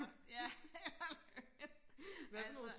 ja altså